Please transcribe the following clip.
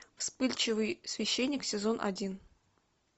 вспыльчивый священник сезон один